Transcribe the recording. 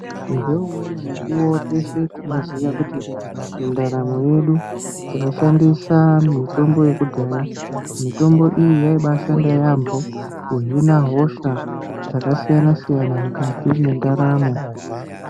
Ngeumweni mukuwo teshe tinoziya kuti mundaramo yedu tinoshandisa mitombo yekudhaya mitombo iyi yaibashanda yambo kuhina hosha dzakasiyana siyana mukati mendaramo.